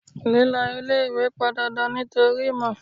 Lílọ ilé-ìwé pọn dandan nítorí ìmò.